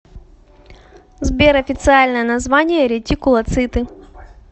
сбер официальное название ретикулоциты